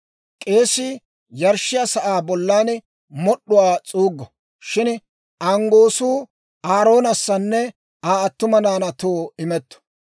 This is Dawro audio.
K'eesii yarshshiyaa sa'aa bollan mod'd'uwaa s'uuggo; shin anggoosu Aaroonassanne Aa attuma naanaatoo imetto.